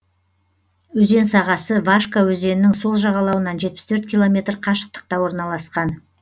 өзен сағасы вашка өзенінің сол жағалауынан жетпіс төрт километр қашықтықта орналасқан